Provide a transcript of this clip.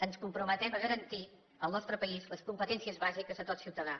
ens comprometem a garantir al nostre país les competències bàsiques de tot ciutadà